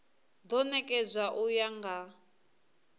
do nekedzwa u ya nga